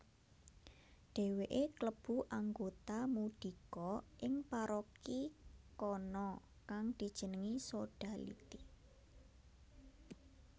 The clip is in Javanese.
Dhèwèké klebu anggota mudhika ing paroki kana kang dijenengi Sodality